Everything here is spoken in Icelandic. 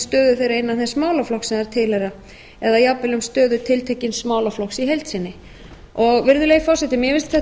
stöðu þeirra innan þess málaflokks á þær tilheyra eða jafnvel um stöðu tiltekins málaflokks í heild sinni virðulegi forseti mér finnst